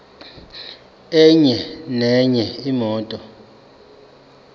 enye nenye imoto